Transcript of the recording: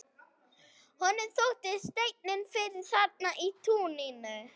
Honum þótti steinninn fyrir þarna í túninu.